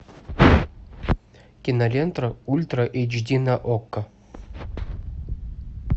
кинолента ультра эйч ди на окко